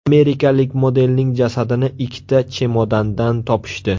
Amerikalik modelning jasadini ikkita chemodandan topishdi.